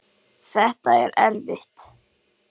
Þetta er erfitt